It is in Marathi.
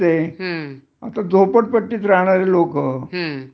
आता झोपडपट्टीत राहणारे लोक